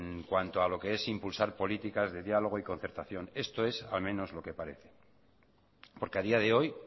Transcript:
en cuanto a lo que es impulsar políticas de diálogo y concertación esto es al menos lo que parece porque a día de hoy